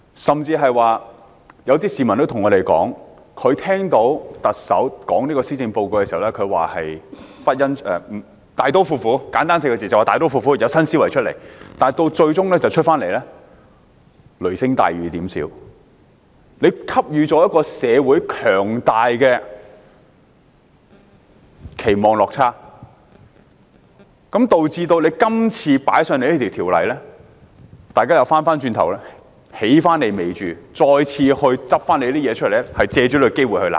甚至有些市民告訴我們，他們聽到特首公布施政報告時，希望的是簡單來說"大刀闊斧 "4 個字，要有新思維，但施政報告最終是雷聲大、雨點小，令社會有強大的期望落差，導致政府今次提交這項《條例草案》時，大家便回頭"起你尾注"，翻政府舊帳，藉此機會罵政府。